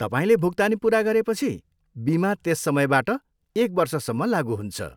तपाईँले भुक्तानी पुरा गरेपछि, बिमा त्यस समयबाट, एक वर्षसम्म लागु हुन्छ।